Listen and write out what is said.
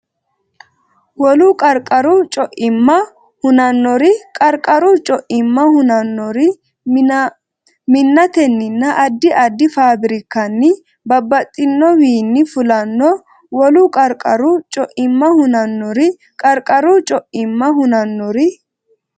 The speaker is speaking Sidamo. Wolu qarqaru co imma hunannori Qarqaru co imma hunannori minnatenninna addi addi faafirikkanni babbaxxinowiinni fulanno Wolu qarqaru co imma hunannori Qarqaru co imma hunannori.